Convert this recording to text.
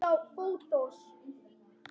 Tíminn til aðgerða er nú!